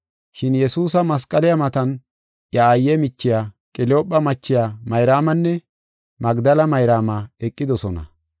Shin Yesuusa masqaliya matan iya aayiya, iya aaye michiya, Qeliyoophe machiya Mayraamanne Magdela Mayraama eqidosona.